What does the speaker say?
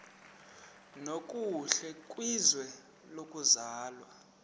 nokuhle kwizwe lokuzalwa